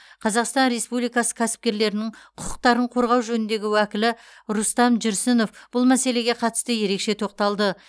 қазақстан республикасы кәсіпкерлерінің құқықтарын қорғау жөніндегі уәкілі рустам жүрсінов бұл мәселеге қатысты ерекше тоқталды